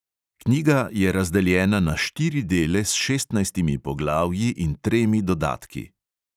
Knjiga je razdeljena na štiri dele s šestnajstimi poglavji in tremi dodatki.